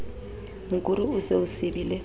mokuru o se o sibile